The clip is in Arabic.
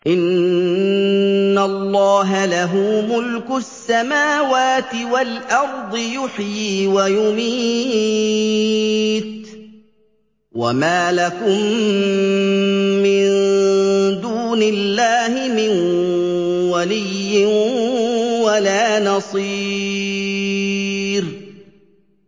إِنَّ اللَّهَ لَهُ مُلْكُ السَّمَاوَاتِ وَالْأَرْضِ ۖ يُحْيِي وَيُمِيتُ ۚ وَمَا لَكُم مِّن دُونِ اللَّهِ مِن وَلِيٍّ وَلَا نَصِيرٍ